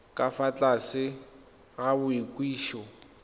ka fa tlase ga boikwadiso